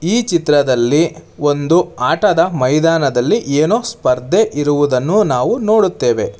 ಈ ಚಿತ್ರದಲ್ಲಿ ಒಂದು ಆಟದ ಮೈದಾನದಲ್ಲಿ ಏನೋ ಸ್ಪರ್ಧೆ ಇರುವುದನ್ನು ನಾವು ನೋಡುತ್ತೇವೆ.